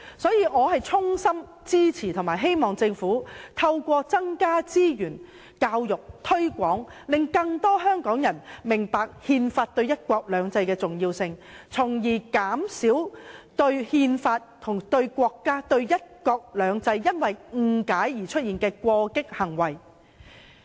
所以，我也衷心支持及希望政府透過增加資源、教育、推廣，令更多香港人明白憲法對"一國兩制"的重要性，從而減少因對憲法、國家和"一國兩制"有所誤解而出現的過激行為。